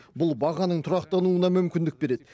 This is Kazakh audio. бұл бағаның тұрақтануына мүмкіндік береді